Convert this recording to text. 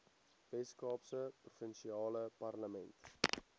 weskaapse provinsiale parlement